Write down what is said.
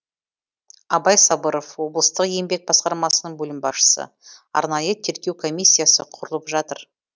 абай сабыров облыстық еңбек басқармасының бөлім басшысы арнайы тергеу комиссиясы құрылып жатыр